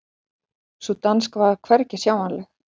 Sú danska var hvergi sjáanleg.